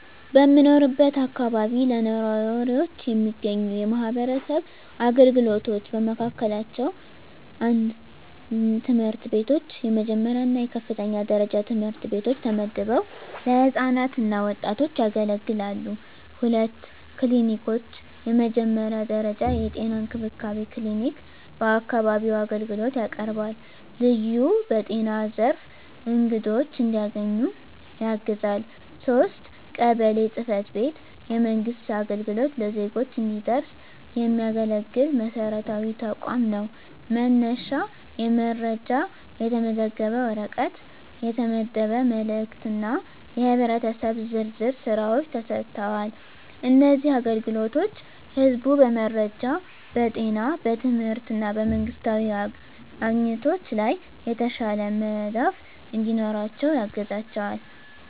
በምኖርበት አካባቢ ለነዋሪዎች የሚገኙ የማህበረሰብ አገልግሎቶች በመካከላቸው፣ 1. ትምህርት ቤቶች፣ የመጀመሪያ እና የከፍተኛ ደረጃ ትምህርት ቤቶች ተመድበው ለህፃናት እና ወጣቶች ያገለግላሉ። 2. ክሊኒኮች፣ የመጀመሪያ ደረጃ የጤና እንክብካቤ ክሊኒክ በአካባቢው አገልግሎት ያቀርባል፣ ልዩ በጤና ዘርፍ አግድዶች እንዲያገኙ ያግዛል። 3. ቀበሌ ጽ/ቤት፣ የመንግሥት አገልግሎት ለዜጎች እንዲደረስ የሚያገለግል መሰረታዊ ተቋም ነው፤ መነሻ የመረጃ፣ የተመዘገበ ወረቀት፣ የተመደበ መልእክት እና የህብረተሰብ ዝርዝር ሥራዎች ተሰጥተዋል። እነዚህ አገልግሎቶች ህዝቡ በመረጃ፣ በጤና፣ በትምህርት እና በመንግስታዊ አግኝቶች ላይ የተሻለ መዳፍ እንዲኖራቸው ያግዛቸዋል።